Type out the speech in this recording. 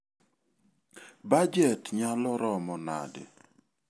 Bajet nyalo romo nade?